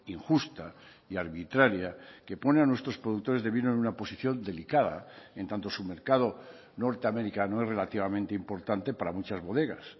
injusta y arbitraria que pone a nuestros productores de vino en una posición delicada en tanto su mercado norteamericano es relativamente importante para muchas bodegas